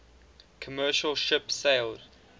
commercial ship sailed